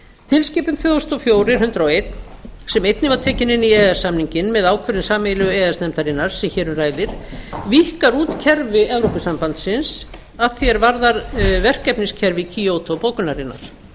tilskipun tvö þúsund og fjögur hundrað og eitt sem einnig var tekin inn í e e s samninginn með ákvörðun sameiginlegu e e s nefndarinnar sem hér um ræðir víkkar út kerfi evrópusambandsins að því er varðar verkefniskerfi kyoto bókunarinnar